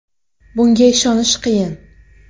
Bunga ishonish qiyin”.